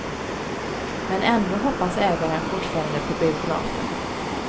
Men ändå hoppas ägaren fortfarande på biografen.